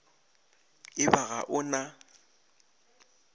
e ba ga o na